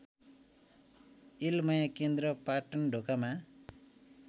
यलमाया केन्द्र पाटनढोकामा